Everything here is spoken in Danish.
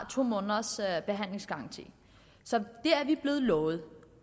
to måneders behandlingsgaranti så det er vi blevet lovet